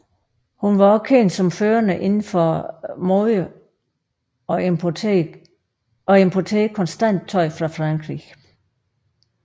Hun var også kendt som førende inden for mode og importerede konstant tøj fra Frankrig